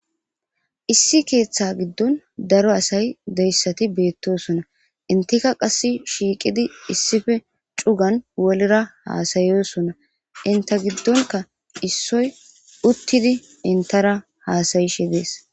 Issi keeththaa giddon daro asay de7issathi beeththoosona; enththikka qassi shiiqidi issipe cugan wolira haasayoosona; enththa giddonkka issoy uththidi enththara haasayishe de7ees.